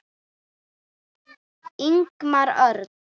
Ingimar Örn.